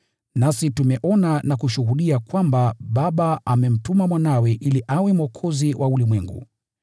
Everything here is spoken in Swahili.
Nasi tumeona na kushuhudia kwamba Baba amemtuma Mwanawe ili awe Mwokozi wa ulimwengu.